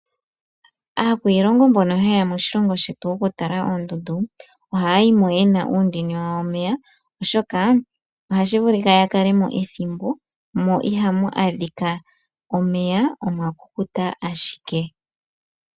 Aakwiilongo mbono haye ya moshilongo shetu okutala oondundu oha ya yimo ye na uundini wawo womeya oshoka oha shi vulika ya kalemo ethimbo mo iha mu adhika omeya omwakukuta ashike.